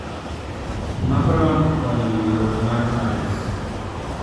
Macron okonyo winjruok mar Paris